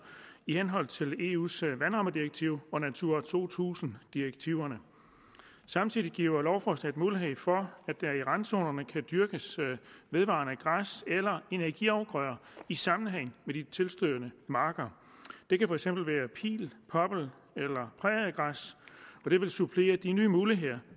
i henhold til eus vandrammedirektiv og natura to tusind direktiverne samtidig giver lovforslaget mulighed for at der i randzonerne kan dyrkes vedvarende græs eller energiafgrøder i sammenhæng med de tilstødende marker det kan for eksempel være pil poppel eller præriegræs og det vil supplere de nye muligheder